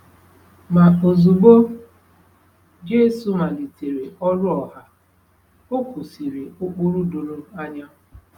Ma ozugbo Jesu malitere ọrụ ọha, o kwusịrị ụkpụrụ doro anya.